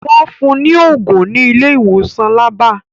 Wọ́n fun ní ògùn ní ilé ìwòsàn labba